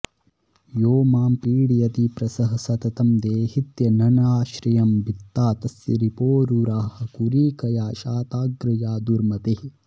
यो मां पीडयति प्रसह सततं देहीत्यनन्नाश्रयं भित्ता तस्य रिपोरुरः कुरिकया शाताग्र या दुर्मतेः